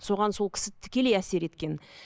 соған сол кісі тікелей әсер еткен